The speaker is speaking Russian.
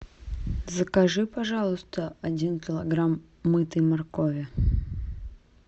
закажи пожалуйста один килограмм мытой моркови